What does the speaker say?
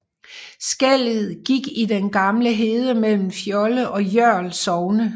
Skellet gik i den gamle hede mellem Fjolde og Jørl sogne